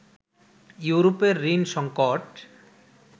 ইউরোপের ঋণ সংকট